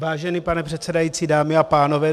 Vážený pane předsedající, dámy a pánové.